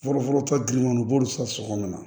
Fɔlɔfɔlɔ tɔ giriman u b'olu san sogomana la